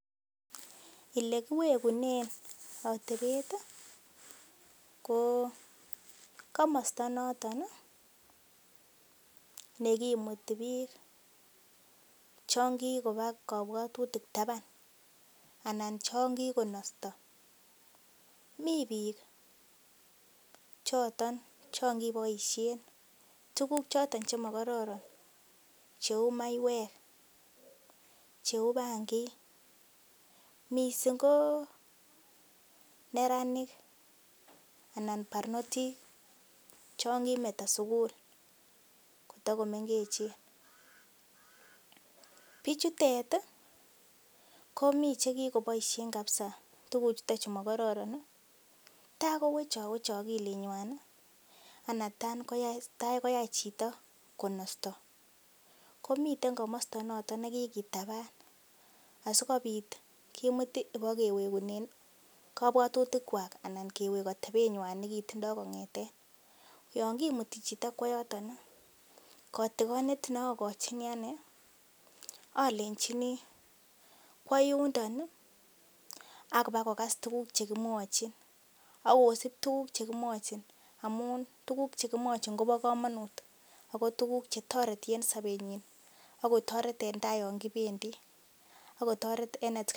Ele kiwegunen atebet ko komosta noton ne kimuti biik chon kigoba kobwatutik taban anan chon kigonosto mi biik choton cho n kiboiisien tuguk choto chemokororon cheu maiywek, cheu bangig, mising ko neranik anan barnotik chon kimeto sugul kotagomengechen. Biichutet komi che kigoboisien kabisa tuguchuto chu mokororon ta kowech ogilinywan, anan tagoyai chito konosto. Komiten komosto noton nekigitaban asikobit kimut ibokwegeunen kobwatutikwak anan kewek atebenywan nekitindo kong'eten yon kimuti chito kwo yoton kotigonet ne ogochini ane alenjini kwo yundo ak ibakogas tuguk che kimwochin ak ibakosib tuguk che kimwojin amun tuguk che kimwojin kobo komonut agotuguk che toreti en sobenyin ak kotoret en taa yon kibendi. Ak kotoret en atkan tugul.